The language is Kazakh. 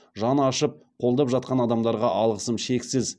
жаны ашып қолдап жатқан адамдарға алғысым шексіз